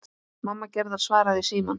Mamma Gerðar svaraði í símann.